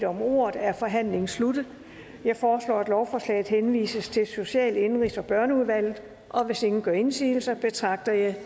om ordet er forhandlingen sluttet jeg foreslår at lovforslaget henvises til social indenrigs og børneudvalget hvis ingen gør indsigelse betragter jeg